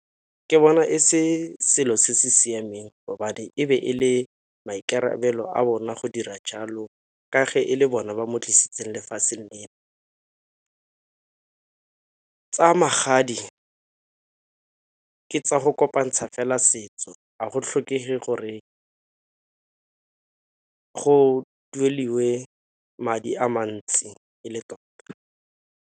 Ke bona e se selo se se siameng e be e le maikarabelo a bona go dira jalo, ka fa e le bona ba mo tlisitseng lefatsheng lena. Tsa magadi ka tsa go kopantsha fela setso ga go tlhokege gore go dueliwe madi a mantsi e le tota.